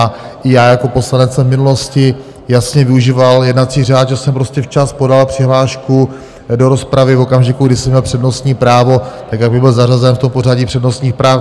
A i já jako poslanec jsem v minulosti jasně využíval jednací řád, že jsem prostě včas podal přihlášku do rozpravy, v okamžiku, kdy jsem měl přednostní právo, tak abych byl zařazen v tom pořadí přednostních práv.